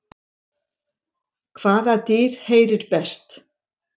Hvaða dýr heyrir best?